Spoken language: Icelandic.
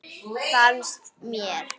Fannst mér.